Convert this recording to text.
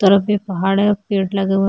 उस तरफ भी पहाड़ है पेड़ लगे हुए--